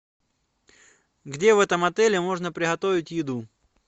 где в этом отеле можно приготовить еду